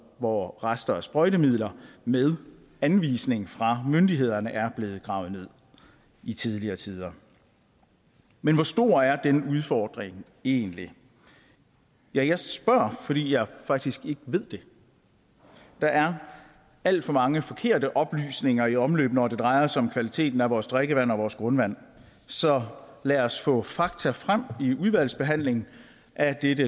hvor rester af sprøjtemidler med anvisning fra myndighederne er blevet gravet ned i tidligere tider men hvor stor er denne udfordring egentlig jeg spørger fordi jeg faktisk ikke ved det der er alt for mange forkerte oplysninger i omløb når det drejer sig om kvaliteten af vores drikkevand og vores grundvand så lad os få fakta frem i udvalgsbehandlingen af dette